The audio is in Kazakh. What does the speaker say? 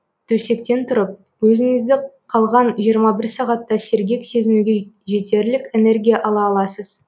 төсектен тұрып өзіңізді қалған жиырма бір сағатта сергек сезінуге жетерлік энергия ала аласыз